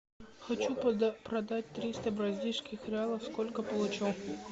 хочу продать триста бразильских реалов сколько получу